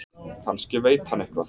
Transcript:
Kannski veit hann eitthvað.